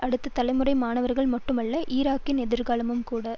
அடுத்த தலைமுறை மாணவர்கள் மட்டுமல்ல ஈராக்கின் எதிர்காலமும்கூட